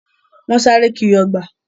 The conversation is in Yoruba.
Wọ́n sáré kiri ọgbà.